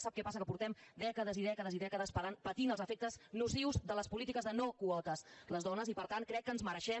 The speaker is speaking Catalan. sap què passa que portem dècades i dècades i dècades patint els efectes nocius de les polítiques de no quotes les dones i per tant crec que ens mereixem